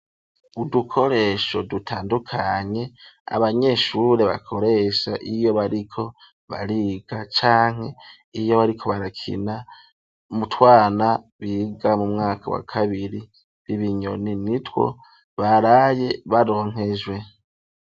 Udukoresho dutandukanye abanyeshure bakoresha iyo bariko bariga canke iyo bariko barakina mu twana biga mu mwaka wa kabiri ibinyoni nitwo baraye baronkejwe